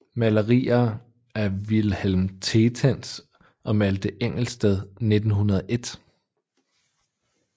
Malerier af Vilhelm Tetens og af Malthe Engelsted 1901